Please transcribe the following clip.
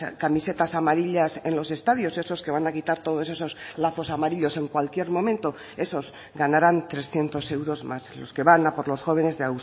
camisetas amarillas en los estadios esos que van a quitar todos esos lazos amarillos en cualquier momento esos ganaran trescientos euros más los que van a por los jóvenes de